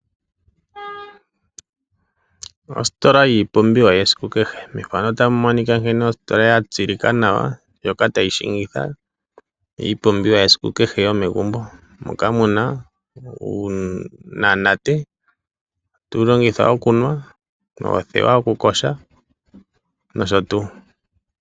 Ositola yiipumbiwa yesiku kehe. Methano ota mu monika nkene ositola ya tseyika nawa ndjoka tayi shingitha iipumbiwa yesiku kehe yomegumbo moka mu na uunamunate oha tu wu longitha okunwa, othewa yokuyoga nosho tuu.